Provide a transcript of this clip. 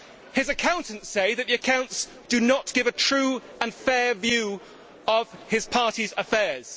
His accountants say that the accounts do not give a true and fair view of his party's affairs.